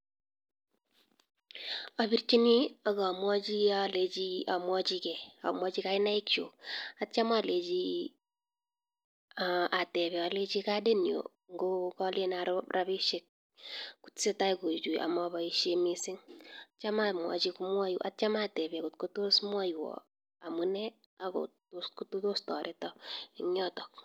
Abirchinii akamwachii ngee amwachii kainaiki chuk atya amwachi alecheii atepee alechii kadit nyu ngo ngalen aro rapishek kotesetai kochuchuii amapaishe missing atya atepee ngotko tos mwaiwa amunee akotos tareta ingyotok